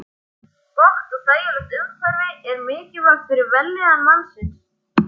Gott og þægilegt umhverfi er mikilvægt fyrir vellíðan mannsins.